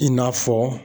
I n'a fɔ